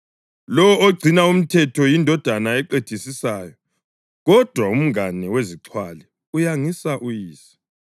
Lowo ogcina umthetho yindodana eqedisisayo, kodwa umngane wezixhwali uyangisa uyise.